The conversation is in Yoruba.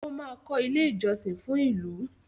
ọ má kò ilé ìjósìn fún ìlú.